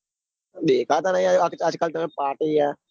દેખાતા નહિ. આજકાલ party યાર